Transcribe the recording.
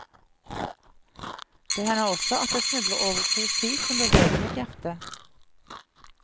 Det hender også at jeg snubler over poesi som beveger mitt hjerte.